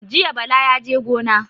Jiya Bala yaje gona.